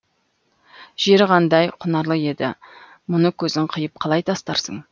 жері қандай құнарлы еді мұны көзің қиып қалай тастарсың